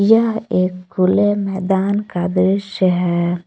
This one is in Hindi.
यह एक खुले मैदान का दृश्य है।